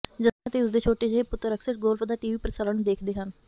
Justin ਅਤੇ ਉਸ ਦੇ ਛੋਟੇ ਜਿਹੇ ਪੁੱਤਰ ਅਕਸਰ ਗੋਲਫ ਦਾ ਟੀਵੀ ਪ੍ਰਸਾਰਣ ਦੇਖਦੇ ਹਨ